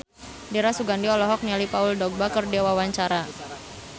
Dira Sugandi olohok ningali Paul Dogba keur diwawancara